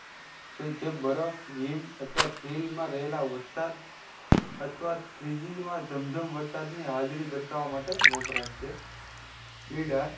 જે બરફ હિમ અથવા ચીલ માં રહેલા વરસાદ અથવા ત્રીજી માં જમ જમ વરસાદ ની હાજરી દર્શાવા માટે વપરાય છે નીડર